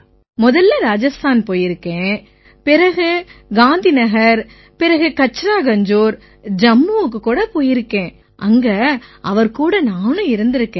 முதல்ல இராஜஸ்தான் போயிருக்கேன் பிறகு காந்திநகர் பிறகு கச்ரா கஞ்ஜோர் ஜம்முவுக்கு போயிருக்கேன் அங்க அவர்கூட இருந்தும் இருக்கேன்